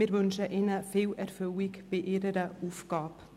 Wir wünschen ihnen viel Erfüllung bei ihren Aufgaben.